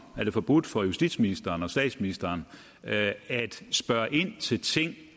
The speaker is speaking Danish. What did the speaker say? det forbudt for justitsministeren og statsministeren at spørge ind til ting